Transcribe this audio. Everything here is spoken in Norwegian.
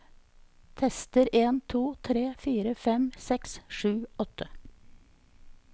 Tester en to tre fire fem seks sju åtte